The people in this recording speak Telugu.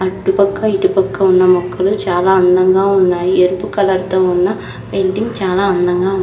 అటుపక్క ఇటుపక్క ఉన్న మొక్కలు చాలా అందంగా ఉన్నాయి ఎరుపు కలర్ తో ఉన్న పెయింటింగ్ చాలా అందంగా ఉంది.